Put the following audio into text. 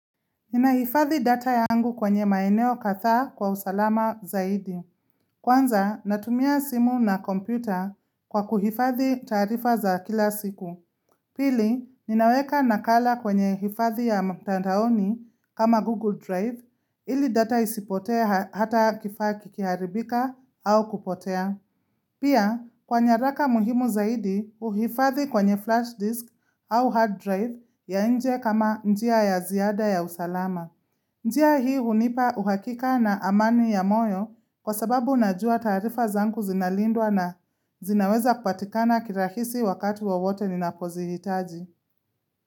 Ninahifadhi data yangu kwenye maeneo kadhaa kwa usalama zaidi. Kwanza, natumia simu na kompyuta kwa kuhifadhi taarifa za kila siku. Pili, ninaweka nakala kwenye hifadhi ya mtandaoni kama Google Drive ili data isipotee hata kifaa kikiharibika au kupotea. Pia, kwa nyaraka muhimu zaidi uhifadhi kwenye flash disk au hard drive ya nje kama njia ya ziada ya usalama. Njia hii unipa uhakika na amani ya moyo kwa sababu najua taarifa zangu zinalindwa na zinaweza kupatikana kirahisi wakati wowote ninapozihitaji.